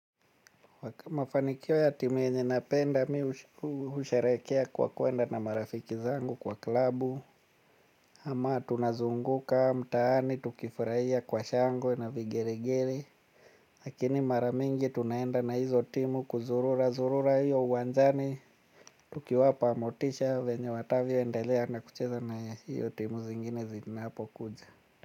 Mafanikio ya timu yenye napenda mi husherehekea kwa kuenda na marafiki zangu kwa klabu ama tunazunguka mtaani tukifurahia kwa shangwe na vigelegele. Lakini mara mingi tunaenda na hizo timu kuzururazurura hiyo uwanjani tukiwapa motisha venye watavyoendelea na kucheza na hiyo timu zingine zinapokuja.